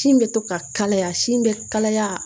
Sin bɛ to ka kalaya sin bɛ kalaya